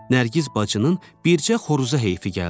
Nərgiz bacının bircə xoruza heyfi gəldi.